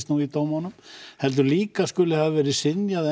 nú í dómunum heldur líka skuli hafa verið synjað